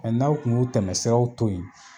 Mɛ n'aw kun y'u tɛmɛsiraw to yen